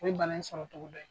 O ye bana in sɔrɔ cogo dɔ ye.